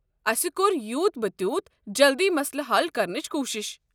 أسۍ کرو یوٗت پِہِ تیوٗت جلد یہِ مسلہٕ حل کرنٕچ کوٗشش۔